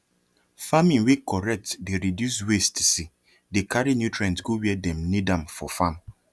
farming wey correct dey reduce wastese dey carry nutrient go where dem need am for farm